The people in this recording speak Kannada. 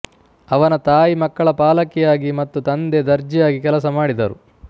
ಅವನ ತಾಯಿ ಮಕ್ಕಳ ಪಾಲಕಿಯಾಗಿ ಮತ್ತು ತಂದೆ ದರ್ಜಿಯಾಗಿ ಕೆಲಸ ಮಾಡಿದರು